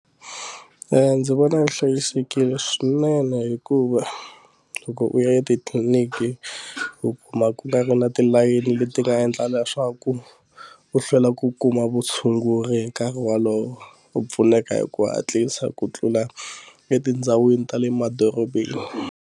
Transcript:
Ehh ndzi vona swi hlayisekile swinene hikuva loko u ya etitliniki u kuma ku nga ri na tilayini leti nga endla leswaku u hlwela ku kuma vutshunguri hi nkarhi wolowo u pfuneka hi ku hatlisa ku tlula etindhawini ta le madorobeni.